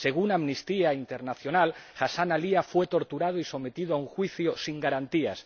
Según Amnistía Internacional, Hassanna Aalia fue torturado y sometido a un juicio sin garantías.